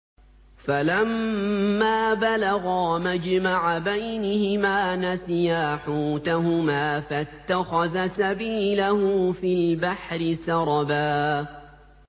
فَلَمَّا بَلَغَا مَجْمَعَ بَيْنِهِمَا نَسِيَا حُوتَهُمَا فَاتَّخَذَ سَبِيلَهُ فِي الْبَحْرِ سَرَبًا